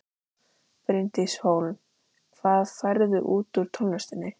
Bryndís Hólm: Hvað færðu út úr tónlistinni?